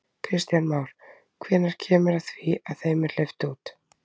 Kristján Már: Hvenær kemur að því að þeim er hleypt út?